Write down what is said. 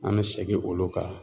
An mɛ segin olu kan.